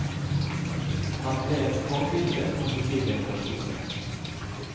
Han ble et forbilde for nye generasjoner.